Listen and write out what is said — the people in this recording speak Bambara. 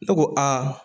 Ne ko aa